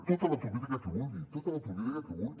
tota l’autocrítica que vulgui tota l’autocrítica que vulgui